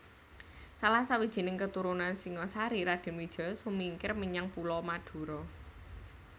Salah sawijining keturunan Singasari Raden Wijaya sumingkir menyang Pulo Madura